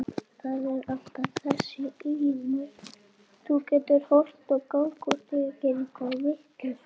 Það er alltaf þessi ilmur.